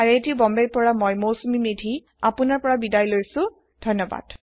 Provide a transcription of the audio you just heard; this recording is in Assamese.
আই আই টী বম্বে ৰ পৰা মই মৌচুমী মেধী এতিয়া আপুনাৰ পৰা বিদায় লৈছো যোগ দিয়াৰ বাবে ধন্যবাদ